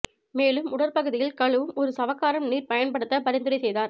மேலும் உடற்பகுதியில் கழுவும் ஒரு சவக்காரம் நீர் பயன்படுத்த பரிந்துரை செய்தார்